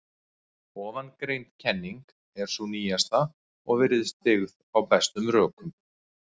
Ofangreind kenning er sú nýjasta og virðist byggð á bestum rökum.